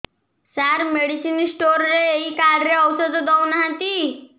ସାର medicine store ରେ ଏଇ card ରେ ଔଷଧ ଦଉନାହାନ୍ତି